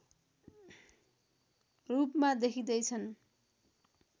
रूपमा देखिँदैछन्